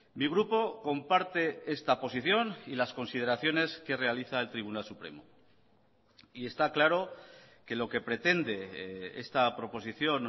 mi grupo comparte esta posición y las consideraciones que realiza el tribunal supremo y está claro que lo que pretende esta proposición